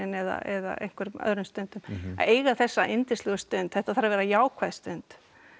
eða á einhverjum öðrum stundum að eiga þessa yndislegu stund þetta þarf að vera jákvæð stund